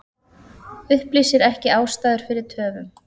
Upplýsir ekki ástæður fyrir töfum